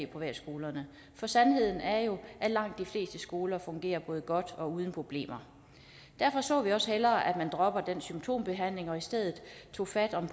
privatskolerne for sandheden er jo at langt de fleste skoler fungerer godt og uden problemer derfor så vi også hellere at man droppede den symptombehandling og i stedet tog fat om